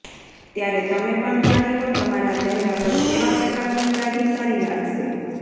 ત્યારે તમે પણ જાણી લો તમારા ચહેરા પર કેવા પ્રકારની દાઢી સારી લાગશે